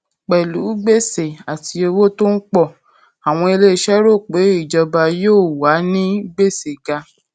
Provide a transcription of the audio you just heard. pẹlú gbèsè àti owó tó ń pọ àwọn ilé iṣẹ rò pé ìjọba yóò wà ní gbèsè ga